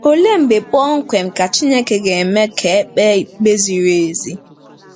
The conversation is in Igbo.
Olee mgbe kpọmkwem ka Chineke 'ga-eme ka e kpee ikpe ziri ezi'?